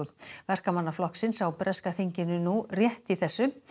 Verkamannaflokksins á breska þinginu nú rétt í þessu